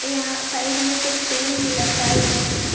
यहां साइड में कुछ पेन भी लटकाए हुए हैं।